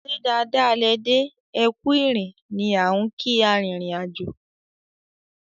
"ṣe dáadáa lẹ dé, ẹkù ìrìn" ni á n kii arìnrìn-àjò.